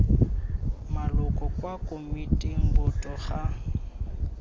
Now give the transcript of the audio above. maloko kwa komiting boto ga